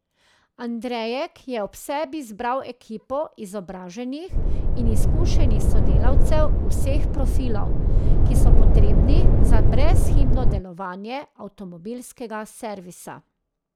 Andrejek je ob sebi zbral ekipo izobraženih in izkušenih sodelavcev vseh profilov, ki so potrebni za brezhibno delovanje avtomobilskega servisa.